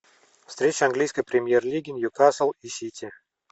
встреча английской премьер лиги ньюкасл и сити